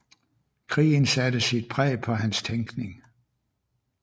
Krigen satte sit præg på hans tænkning